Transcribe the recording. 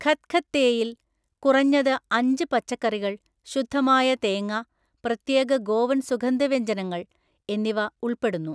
ഖത്ഖത്തേയിൽ കുറഞ്ഞത് അഞ്ച് പച്ചക്കറികൾ, ശുദ്ധമായ തേങ്ങ, പ്രത്യേക ഗോവൻ സുഗന്ധവ്യഞ്ജനങ്ങൾ എന്നിവ ഉൾപ്പെടുന്നു.